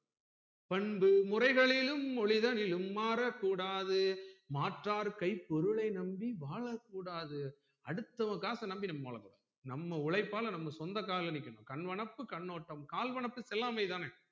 பண்பு முறைகளிலும் ஒழிதலிலும் மாறக் கூடாது மாற்றார் கை பொருளை நம்பி வாழக்கூடாது அடுத்தவன் காச நம்பி நீ முதல்ல வாழக்கூடாது நம்ம உழைப்பால நம்ம சொந்த கால்ல நிக்கணும் கண்வனப்பு கண்ணோட்டம் கால்வனப்பு செல்லாமை தானே